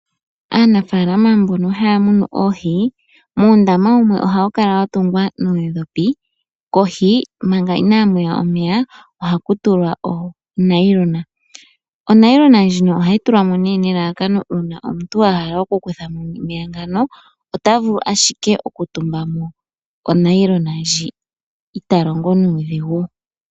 Aanafaalama mbono haya munu oohi, uundama wumwe ohayi kala wa tungwa noodhopi kohi manga inaamu ya omeya ohaku tulwa onayilona . Onayilona ndjino ohayi tulwa mo nelalakano uuna omuntu a hala oku kutha mo omeya ngano, ota vulu ashike oku tumba mo onayilona ndji, i ta longo nuudhigu.